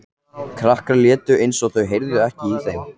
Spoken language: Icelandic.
Krakkarnir létu eins og þau heyrðu ekki í þeim.